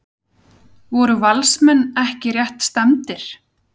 Voru Valsmenn ekki rétt stefndir?